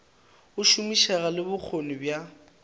go šomišega le bokgoni bja